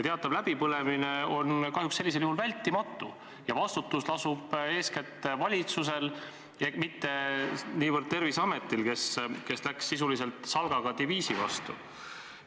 Teatav läbipõlemine on sellisel juhul kahjuks vältimatu ja vastutus lasub eeskätt valitsusel, mitte niivõrd Terviseametil, kes läks sisuliselt salgaga diviisi vastu.